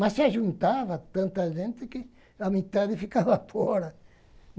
Mas se juntava tanta gente que a metade ficava fora.